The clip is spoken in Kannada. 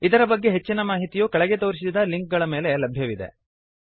ಇದರ ಬಗ್ಗೆ ಹೆಚ್ಚಿನ ಮಾಹಿತಿಯು ಕೆಳಗೆ ತೋರಿಸಿದ ಲಿಂಕ್ ಗಳ ಮೇಲೆ ಲಭ್ಯವಿದೆ